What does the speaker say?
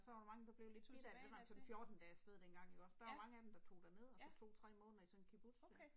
Så var der mange der blev lidt bidt af det det var altså 14 dage afsted dengang ikke også, der var mange af dem der tog derned og så tog 3 måneder i sådan en kibbutz der